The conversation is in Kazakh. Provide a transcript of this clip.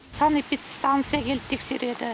санэпидстанция келіп тексереді